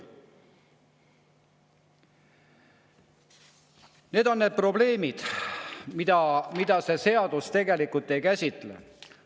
Need on need probleemid, mida see seadus tegelikult ei käsitle.